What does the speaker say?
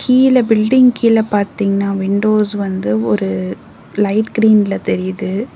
கீழ பில்டிங் கீழ பாத்தீங்னா விண்டோஸ் வந்து ஒரு லைட் கிரீன்ல தெரியுது.